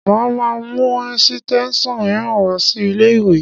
Mo máa mú ẹ̀sítẹ́nsàn mìíràn wá sí ilé-ìwé